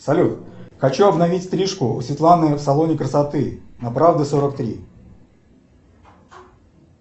салют хочу обновить стрижку у светланы в салоне красоты на правды сорок три